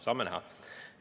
Saame näha.